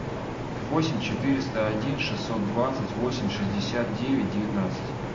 восемь четыреста один шестьсот двадцать восемь шестьдесят девять девятнадцать